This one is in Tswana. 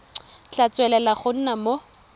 tla tswelela go nna mo